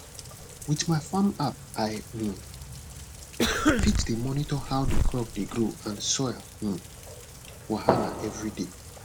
with my farm app i um fit dey monitor how the crop dey grow and soil um wahala everyday